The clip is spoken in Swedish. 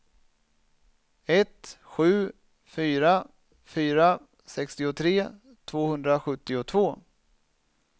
ett sju fyra fyra sextiotre tvåhundrasjuttiotvå